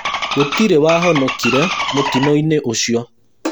Gũtirĩ wahonokire mũtino-inĩ ũcio